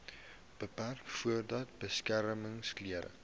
beperk voordat beskermingsklere